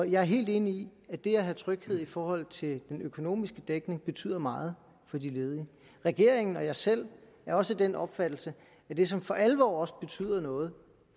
jeg er helt enig i at det at have tryghed i forhold til den økonomiske dækning betyder meget for de ledige regeringen og jeg selv er også af den opfattelse at det som for alvor også betyder noget